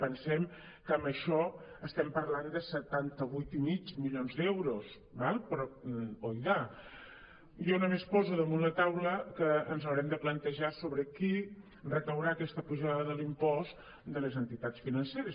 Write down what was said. pensem que amb això estem parlant de setanta vuit i mig milions d’euros d’acord però oidà jo només poso damunt la taula que ens hau·rem de plantejar sobre qui recaurà aquesta pujada de l’impost de les entitats financeres